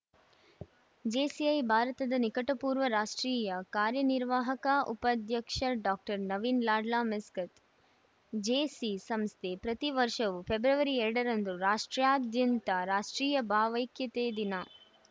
JCI ಭಾರತದ ನಿಕಟಪೂರ್ವ ರಾಷ್ಟ್ರೀಯ ಕಾರ್ಯನಿರ್ವಾಹಕ ಉಪಾಧ್ಯಕ್ಷ doctor Naveen Lloyd Miskith JC ಸಂಸ್ಥೆ ಪ್ರತಿ ವರ್ಷವು ಫೆಬ್ರವರಿ ಎರಡ ರಂದು ರಾಷ್ಟ್ರಾದ್ಯಂತ ರಾಷ್ಟ್ರೀಯ ಭಾವೈಕ್ಯತೆ ದಿನ